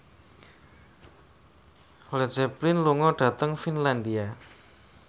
Led Zeppelin lunga dhateng Finlandia